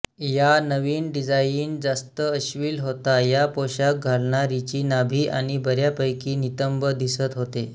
या नविन डिझाइन जास्त अश्लील होता यात पोषाख घालणारीची नाभी आणि बऱ्यापैकी नितंब दिसत होते